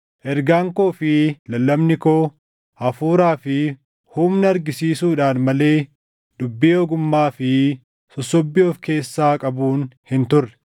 Ergaan koo fi lallabni koo Hafuuraa fi humna argisiisuudhaan malee dubbii ogummaa fi sossobbii of keessaa qabuun hin turre;